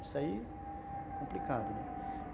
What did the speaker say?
Isso aí é complicado, né?